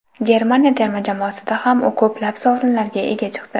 Germaniya terma jamoasida ham u ko‘plab sovrinlarga ega chiqdi.